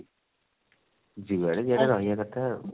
ଯୁଆଡେ ଗୋଟେ ରହିବା କଥା ଆଉ